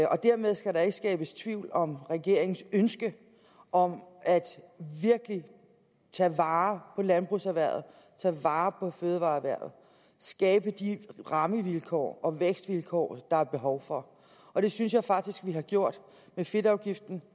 dermed skal der ikke skabes tvivl om regeringens ønske om virkelig at tage vare på landbrugserhvervet tage vare på fødevareerhvervet skabe de rammevilkår og vækstvilkår der er behov for og det synes jeg faktisk vi har gjort med fedtafgiften